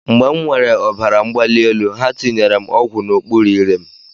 Mgbe m nwèrè ọbara mgbali elu, ha tinyere m ọgwụ n'okpuru ire m.